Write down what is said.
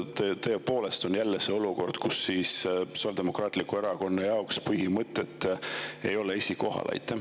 Kas tõepoolest on jälle olukord, kus Sotsiaaldemokraatliku Erakonna jaoks põhimõtted ei ole esikohal?